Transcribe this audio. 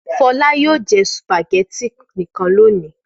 Fọlá yóò jẹ sùpàgẹ́tì nìkan lónìí!